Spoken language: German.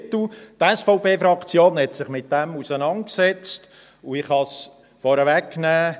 Die SVP-Fraktion hat sich mit dem auseinandergesetzt, und ich kann es vornweg nehmen: